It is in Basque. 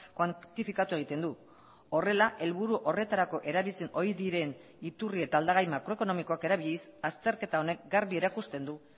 kuantifikatu egiten du horrela helburu horretarako erabili ohi diren iturri eta aldagai makroekonomikoak erabiliz azterketa honek garbi erakusten du